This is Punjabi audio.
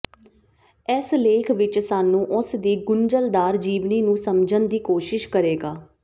ਇਸ ਲੇਖ ਵਿਚ ਸਾਨੂੰ ਉਸ ਦੀ ਗੁੰਝਲਦਾਰ ਜੀਵਨੀ ਨੂੰ ਸਮਝਣ ਦੀ ਕੋਸ਼ਿਸ਼ ਕਰੇਗਾ